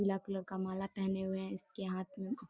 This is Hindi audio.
पीला कलर का माला पहने हुए हैं इसके हाथ में --.